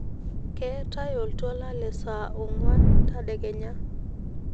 ketai oltwala le saa ongwan tadekenya